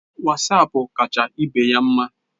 Wasapu kacha ibeya mma